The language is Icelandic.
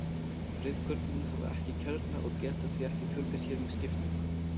Rauðkornin hafa ekki kjarna og geta því ekki fjölgað sér með skiptingu.